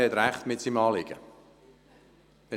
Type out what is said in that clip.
Der Motionär hat mit seinem Anliegen recht.